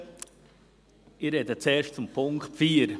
Ich spreche zuerst zum Punkt 4.